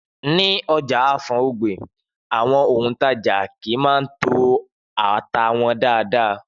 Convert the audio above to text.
Ni ọjà Afor Ogbe, àwọn òntajà kii maa ń to ata wọn dáadáa